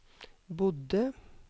bodde